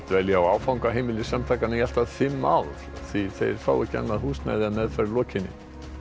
dvelja á áfangaheimili samtakanna í allt að fimm ár því þeir fá ekki annað húsnæði að meðferð lokinni